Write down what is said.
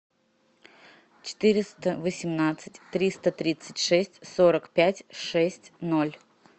четыреста восемнадцать триста тридцать шесть сорок пять шесть ноль